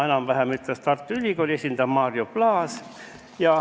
Enam-vähem sama ütles Tartu Ülikooli esindaja Mario Plaas.